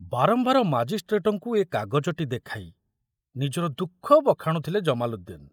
ବାରମ୍ବାର ମାଜିଷ୍ଟ୍ରେଟଙ୍କୁ ଏ କାଗଜଟି ଦେଖାଇ ନିଜର ଦୁଃଖ ବଖାଣୁଥିଲେ ଜମାଲୁଦ୍ଦିନ।